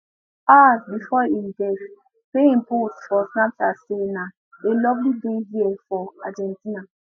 hours before im death payne post for snapchat say na a lovely day here for argentina